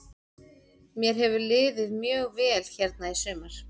Mér hefur liðið mjög vel hérna í sumar.